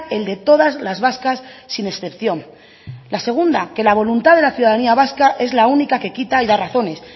el de todas las vascas sin excepción la segunda que la voluntad de la ciudadanía vasca es la única que quita y da razones